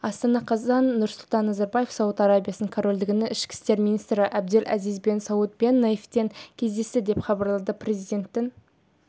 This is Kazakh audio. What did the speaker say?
астана қазан нұрсұлтан назарбаев сауд арабиясы корольдігінің ішкі істер министрі әбдел әзиз бен сауд бен наифпен кездесті деп хабарлады президентінің